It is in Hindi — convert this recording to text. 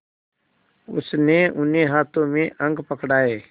उसने उन्हें हाथों में अंक पकड़ाए